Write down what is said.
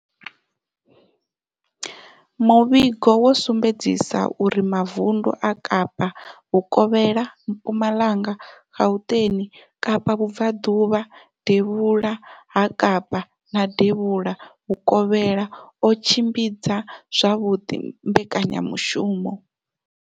Muvhigo wo sumbedzisa uri mavundu a kapa Vhukovhela, Mpumalanga, Gauteng, kapa vhubvaḓuvha, devhula ha kapa na devhula vhukovhela o tshimbidza zwavhuḓi mbekanyamushumo